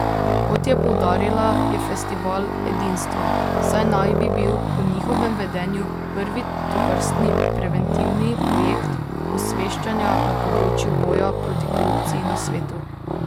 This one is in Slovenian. Kot je poudarila, je festival edinstven, saj naj bi bil po njihovem vedenju prvi tovrstni preventivni projekt osveščanja na področju boja proti korupciji na svetu.